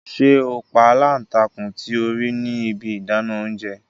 Ṣe o pa alántakùn ti o rii ni ibi idana ounjẹ!